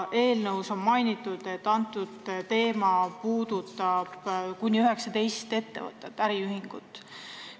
Seletuskirjas on mainitud, et see teema puudutab kuni 19 ettevõtet-äriühingut.